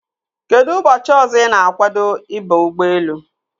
Kedụ ụbọchị ọzọ ị na-agwado ịba ụgbọelu?